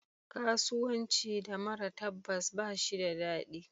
Karuwanci da mara tabbas ba shi da dadi.